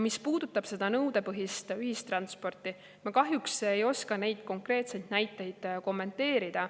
Mis puudutab nõudepõhist ühistransporti, siis ma kahjuks ei oska neid konkreetseid näiteid kommenteerida.